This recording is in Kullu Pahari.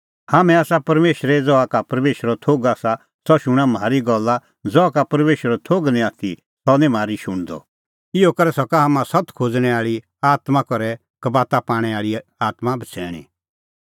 हाम्हैं आसा परमेशरे ज़हा का परमेशरो थोघ आसा सह शूणां म्हारी गल्ला ज़हा का परमेशरो थोघ निं आथी सह निं म्हारी शुण्हदअ इहअ करै सका हाम्हां सत्त खोज़णैं आल़ी आत्मां और कबाता पाणै आल़ी आत्मां बछ़ैणीं